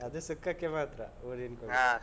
ಅದು ಸುಕ್ಕಕ್ಕೆ ಮಾತ್ರ ಊರಿನ್ ಕೋಳಿ.